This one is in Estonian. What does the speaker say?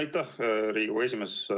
Aitäh, Riigikogu esimees!